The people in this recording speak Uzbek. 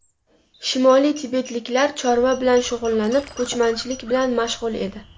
Shimoliy tibetliklar chorva bilan shug‘ullanib, ko‘chmanchilik bilan mashg‘ul edi.